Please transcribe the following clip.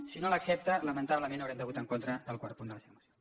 si no l’accepta lamentablement haurem de votar en contra del quart punt de la seva moció